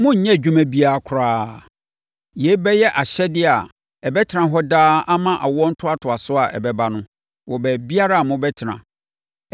Monnyɛ adwuma biara koraa. Yei bɛyɛ ahyɛdeɛ a ɛbɛtena hɔ daa ama awoɔ ntoatoasoɔ a ɛbɛba no, wɔ baabiara a mobɛtena.